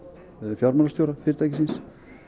fjármálastjóra fyrirtækisins